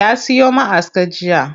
Ya siyo ma'aska jiya.